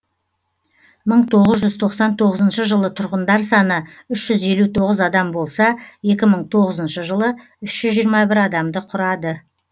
мың тоғыз жүз тоқсан тоғызыншы жылы тұрғындар саны үш жүз елу тоғыз адам болса екі мың тоғызыншы жылы үш жүз жиырма бір адамды құрады